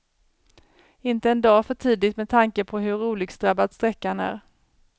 Inte en dag för tidigt, med tanke på hur olycksdrabbad sträckan är.